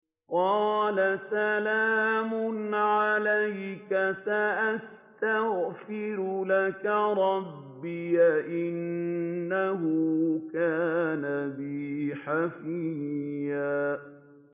قَالَ سَلَامٌ عَلَيْكَ ۖ سَأَسْتَغْفِرُ لَكَ رَبِّي ۖ إِنَّهُ كَانَ بِي حَفِيًّا